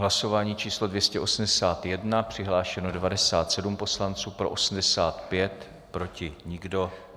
Hlasování číslo 281, přihlášeno 97 poslanců, pro 85, proti nikdo.